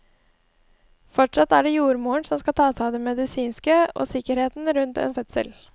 Fortsatt er det jordmoren som skal ta seg av det medisinske og sikkerheten rundt en fødsel.